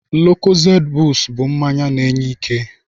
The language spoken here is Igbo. Lukozedị bustu bụ mmanya na-enye ike.